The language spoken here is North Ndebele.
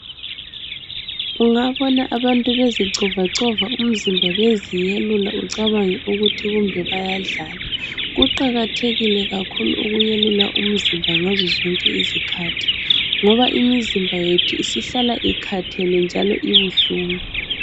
Ungabona abantu bezicovacova umzimba beziyelula ucabange ukuthi kumbe bayadlala. Kuqakathekile kakhulu ukuyelula umzimba umzimba ngazo zonke izikhathi ngoba imizimba yethu isihlala ikathele njalo ibuhlungu.